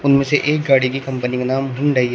इनमें से एक गाड़ी की कंपनी का नाम हुंडाई है।